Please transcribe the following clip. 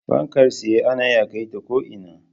Fankar tsaye ana iya kai ta ko'ina